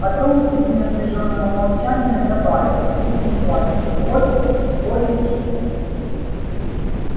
потом среди напряжённого молчания добавил чуть не плача вот более или менее